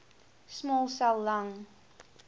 small cell lung